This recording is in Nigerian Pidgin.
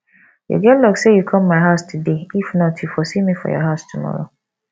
you get luck say you come my house today if not you for see me for your house tomorrow